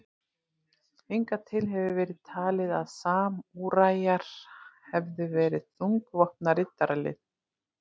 Hingað til hefur verið talið að samúræjar hefðu verið þungvopnað riddaralið.